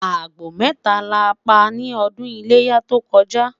àgbò meta la pa ní ọdún iléyá tó koja